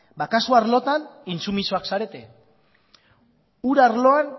ba kasu arlotan intsumisoak zarete ur arloan